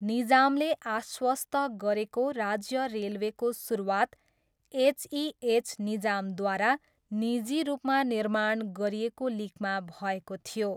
निजामले आश्वस्त गरेको राज्य रेलवेको सुरुवात एचइएच निजामद्वारा निजी रूपमा निर्माण गरिएको लिकमा भएको थियो।